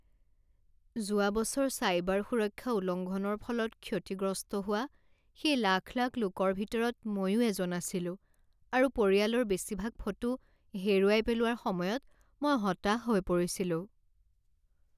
যোৱা বছৰ চাইবাৰ সুৰক্ষা উলংঘনৰ ফলত ক্ষতিগ্ৰস্ত হোৱা সেই লাখ লাখ লোকৰ ভিতৰত মইও এজন আছিলোঁ আৰু পৰিয়ালৰ বেছিভাগ ফটো হেৰুৱাই পেলোৱাৰ সময়ত মই হতাশ হৈ পৰিছিলোঁ।